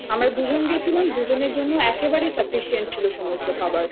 পেট ভরছে না আমরা দুজন গেছিলাম দুজনের জন্য